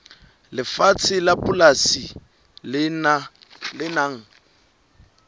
lefatshe la polasi le nang